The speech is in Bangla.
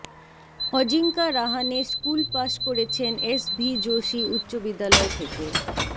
অজিঙ্কা রাহানে স্কুল পাশ করেছেন এস ভি যোশী উচ্চবিদ্যালয় থেকে